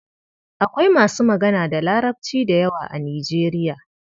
Akwai masu magana da Larabci da yawa a Nijeriya.